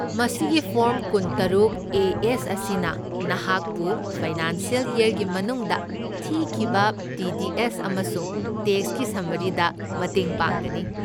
ꯃꯁꯤꯒꯤ ꯐꯣꯔꯝ ꯀꯨꯟꯇꯔꯨꯛ A. S. ꯑꯁꯤꯅ ꯅꯍꯥꯛꯄꯨ ꯐꯥꯏꯅꯥꯟꯁꯤꯑꯦꯜ ꯌꯔꯒꯤ ꯃꯅꯨꯡꯗ ꯊꯤꯈꯤꯕ ꯇꯤ. ꯗꯤ. ꯑꯦꯁ. ꯑꯃꯁꯨꯡ ꯇꯦꯛꯁꯀꯤ ꯁꯝꯃꯔꯤꯗ ꯃꯇꯦꯡ ꯄꯥꯡꯒꯅꯤ꯫